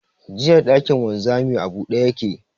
Jiya, shagon wanzamin a buɗe ya ke.